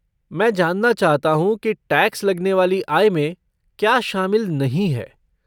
मैं जानना चाहता हूँ कि टैक्स लगने वाली आय में क्या शामिल नहीं है।